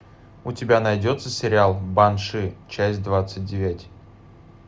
у тебя найдется сериал банши часть двадцать девять